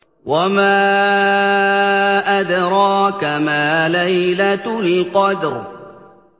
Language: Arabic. وَمَا أَدْرَاكَ مَا لَيْلَةُ الْقَدْرِ